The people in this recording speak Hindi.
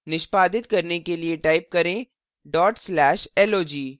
निष्पादित करने के लिए type करें /log